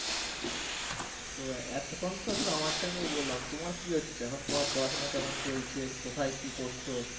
তো এতক্ষণ তো শুধু আমারটা নিয়ে বললাম, তোমার কি হচ্ছে? তোমার পড়াশোনা কেমন চলছে? কোথায় কি করছো?